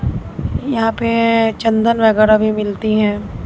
यहां पे चंदन वगैरह भी मिलती है।